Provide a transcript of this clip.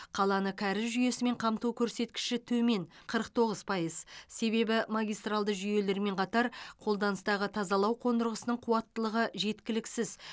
қаланы кәріз жүйесімен қамту көрсеткіші төмен қырық тоғыз пайыз себебі магистралды жүйелермен қатар қолданыстағы тазалау қондырғысының қуаттылығы жеткіліксіз